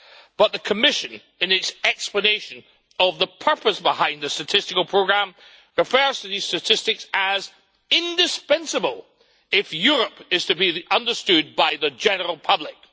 But the Commission in its explanation of the purpose behind the statistical programme refers to these statistics as indispensable' if Europe is to be understood by the general public.